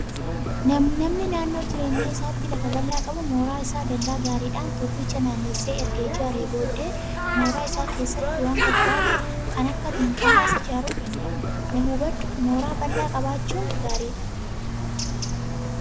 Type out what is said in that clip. Namni naannoo jireenya isaatti lafa bal'aa qabu mooraa isaa dallaa gaariidhaan tokkicha naannessee erga ijaaree booddee mooraa isaa keessatti waan barbaade kan akka dunkaanaas ijaaruu danda'a. Na hubadhuu mooraa bal'aa qabaachuun gaariidha.